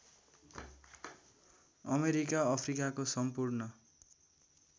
America अफ्रिकाको सम्पूर्ण